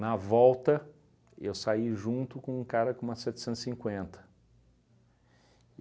Na volta, eu saí junto com um cara com uma setecentos e cinquenta.